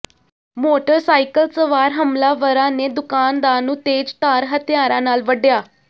motorcycle ਸਵਾਰ ਹਮਲਾਵਰਾਂ ਨੇ ਦੁਕਾਨਦਾਰ ਨੂੰ ਤੇਜ਼ਧਾਰ ਹਥਿਆਰਾਂ ਨਾਲ ਵੱਢਿਆ